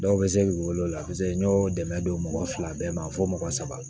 Dɔw bɛ se k'i wele o la n y'o dɛmɛ don mɔgɔ fila bɛɛ ma fo mɔgɔ saba